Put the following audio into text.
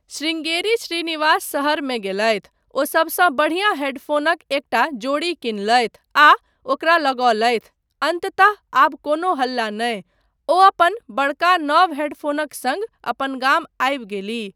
शृंगेरी श्रीनिवास शहरमे गेलथि। ओ सबसँ बढ़िया हेडफ़ोनक एकटा जोड़ी किनलथि आ ओकरा लगोलथि। अन्ततः..आब कोनो हल्ला नहि! ओ अपन बड़का नव हेडफोनक सङ्ग अपन गाम आबि गेलीह।